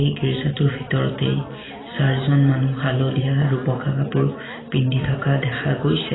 এই গীৰ্জাটোৰ ভিতৰতেই চাৰিজন মানুহ হালধীয়া আৰু বগা কাপোৰ পিন্ধি থকা দেখা গৈছে।